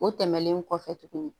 O tɛmɛnen kɔfɛ tugunni